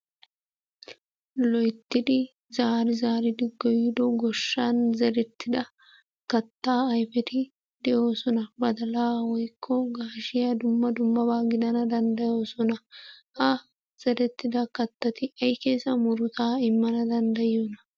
Loyttidi zaari zaaridi goyido goshshan zerettida kattaa ayfeti de'oosona. Badalaa woykko gaashiya dumma dummabaa gidana danddayosona. Ha zerettida kattati ay keesa murutaa immana danddayiyonaa?